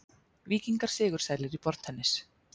Víkingar sigursælir í borðtennis